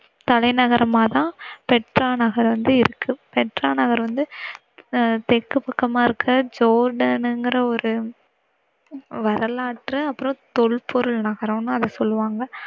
தலைநகரமாதான் Petra நகர் வந்துயிருக்கு. Petra நகர் அஹ் வந்து தெற்கு பக்கமாயிருக்க ஜோர்டான்ங்கிற ஒரு வரலாற்று அப்புறம் தொல்பொருள் நகரம்னு அத சொல்லுவாங்க.